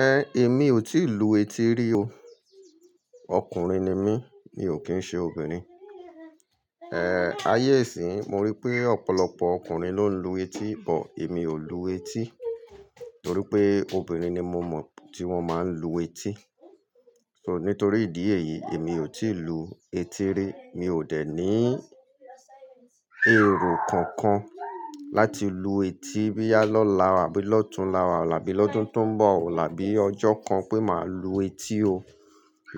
Ẹn, èmi ò tí ì lu etí rí o. Ọkùnrin ni mí, mi ò kín ṣe obìnrin. En, ayé ìsí yi, mo rí pé ọ̀pọ̀lọpọ̀ ọkùnrin ló ń lu etí, but èmi ò lu etí torí pé obìnrin ni mo mọ̀ tí wọ́n máa ń lu etí. So nítorí ìdí èyí, èmi ò tí ì lu etí rí. Mi ò dẹ̀ ní èrò kankan láti lu etí boya lọ́lá, àbí lọ́tunlá, àbí lọ́dún tó ń bọ̀, àbí ọjọ́ kan pé màá lu etí o.